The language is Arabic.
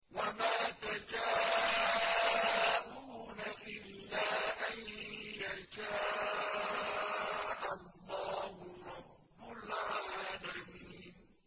وَمَا تَشَاءُونَ إِلَّا أَن يَشَاءَ اللَّهُ رَبُّ الْعَالَمِينَ